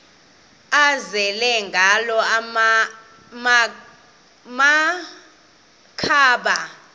azele ngala makhaba